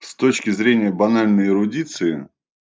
с точки зрения банальной эрудиции